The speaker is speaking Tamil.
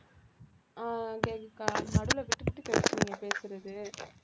ஆஹ் கேக்குதுக்கா நடுவில விட்டுவிட்டு கேக்குது நீங்க பேசறது